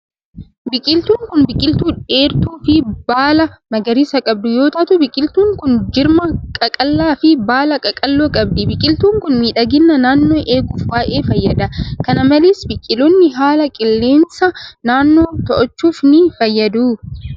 Biqiltuun kun, biqiltuu dheertuu fi baala magariisaa qabdu yoo taatu, biqiltuun kun jirma qaqallaa fi baala qaqalloo qabdi. Biqiltuun kun, miidhagina naannoo eeguuf baay'ee fayyada. Kana malees biqiloonni haala qilleensa naannoo to'achuufis ni fayyadu.